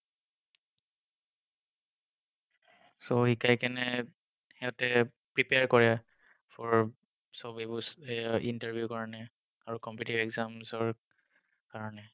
So শিকাই কিনে সিহঁতে prepare কৰে for চব এইবোৰ এৰ interview কাৰণে আৰু competitive exams ৰ কাৰণে।